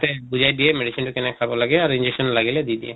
তাতে বুজাই দিয়ে medicine টো কেনেকে খাব লাগে আৰু injection লাগিলে দি দিয়ে।